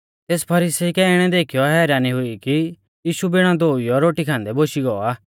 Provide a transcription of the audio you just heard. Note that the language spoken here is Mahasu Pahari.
तेस फरीसी कै इणै देखीयौ हैरानी हुई कि यीशु बिणा धोउइयौ रोटी खान्दै बोशी गौ आ